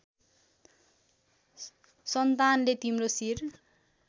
सन्तानले तिम्रो शिर